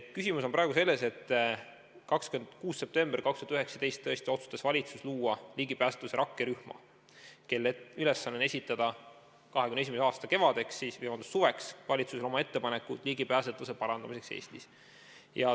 Küsimus on praegu selles, et 26. septembril 2019 tõesti otsustas valitsus luua ligipääsetavuse rakkerühma, kelle ülesanne on esitada 2021. aasta suveks valitsusele oma ettepanekud ligipääsetavuse parandamiseks Eestis.